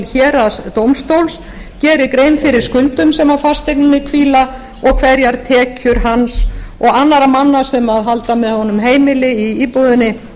héraðsdómstóls gerir grein fyrir skuldum sem á fasteigninni hvíla og hverjar tekjur hans og annarra manna sem halda með honum heimili í íbúðinni